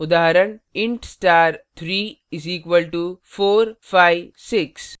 उदाहरण intstar 3 = {456}